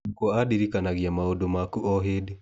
Nyũkwa andirikanagia maũndũ makũ o hĩndĩ.